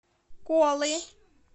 колы